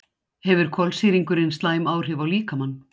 hefur koltvísýringurinn slæm áhrif á líkamann